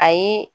Ayi